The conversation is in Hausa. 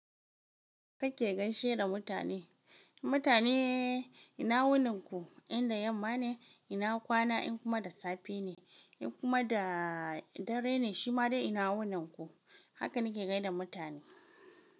Kake gaishe da mutane. Mutane ina wunin ku? Inda yamma ne, ina kwana in kuma da safe ne in kuma da dare ne shima ina wunin ku. Haka nike gaida mutane.